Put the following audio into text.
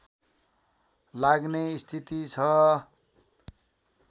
लाग्ने स्थिति छ